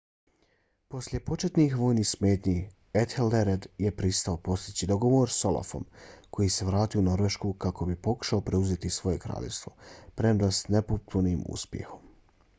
poslije početnih vojnih smetnji ethelred je pristao postići dogovor s olafom koji se vratio u norvešku kako bi pokušao preuzeti svoje kraljevstvo premda s nepotpunim uspjehom